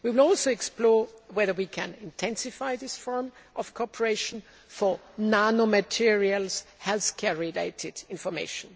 We will also explore whether we can intensify this forum of cooperation for nanomaterial health care related information.